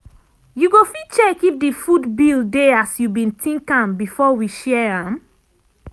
you go fit check if di food bill dey as you been think am before we share am?